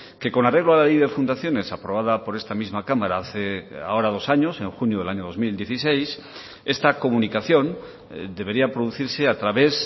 que con arreglo a la ley de fundaciones aprobada por esta misma cámara hace ahora dos años en junio del año dos mil dieciséis esta comunicación debería producirse a través